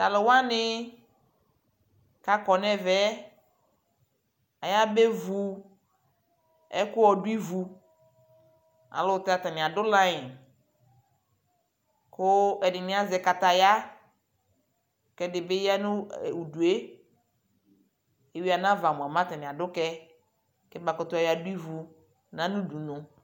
Talʋ wani kakɔ nʋ ɛvɛɛ ayabevu ɛkʋ ɔdu ivu ayʋɛlʋtɛ atani adʋ laiŋ kʋ ɛdι nι azɛ kataya kʋ ɛdι bι ya nʋ udue Evi anava mua, mɛ atani adu kɛ kɛbakutu yɔadu nʋ ivu